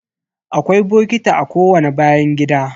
Akwai bokiti a kowani bayan gida.